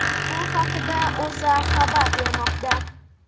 Bu haqida O‘zA xabar bermoqda .